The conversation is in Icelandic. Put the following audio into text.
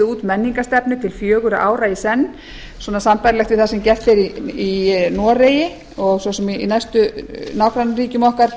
út menningarstefnu til fjögurra ára í senn svona sambærilegt við það sem gert er í noregi og svo sem í næstu nágrannaríkjum okkar